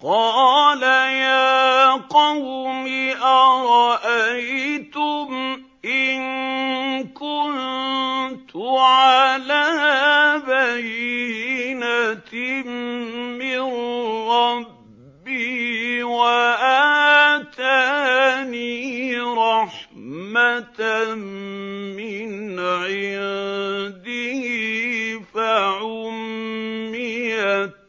قَالَ يَا قَوْمِ أَرَأَيْتُمْ إِن كُنتُ عَلَىٰ بَيِّنَةٍ مِّن رَّبِّي وَآتَانِي رَحْمَةً مِّنْ عِندِهِ فَعُمِّيَتْ